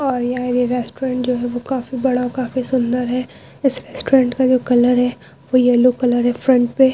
और यहाँ ये रेस्टुरेंट जो है वो काफी बड़ा और काफी सुंदर है। इस रेस्टुरेंट का जो कलर है वो येलो कलर है फ्रंट पे--